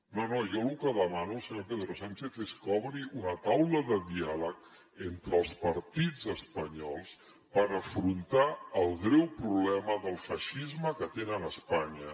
no no jo lo que demano al senyor pedro sánchez és que obri una taula de diàleg entre els partits espanyols per afrontar el greu problema del feixisme que tenen a espanya